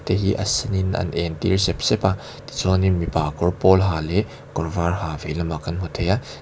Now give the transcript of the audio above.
te hi a sen in an en tir sep sep a tichuanlin mipa kawr pawl ha leh kawr var ha vei lamah kan hmu thei a.